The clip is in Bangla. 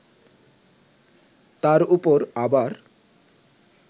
তার ওপর আবার